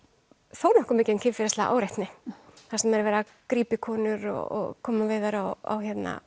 þó nokkuð mikið um kynferðislega áreitni þar sem er verið að grípa í konur og koma við þær á